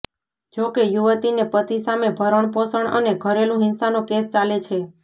જોકે યુવતીને પતિ સામે ભરણપોષણ અને ઘરેલુ હિંસાનો કેસ ચાલે છે